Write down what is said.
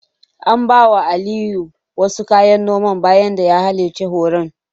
An bawa Aliyu wasu kayan noma bayan da ya halarci horon.